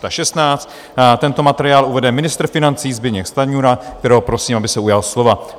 Tento materiál uvede ministr financí Zbyněk Stanjura, kterého prosím, aby se ujal slova.